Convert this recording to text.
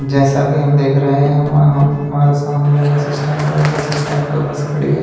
जैसा कि हम देख रहे हैं हम हम हमारे सामने बस स्टैंड है और बस स्टैंड पर बस खड़ी है।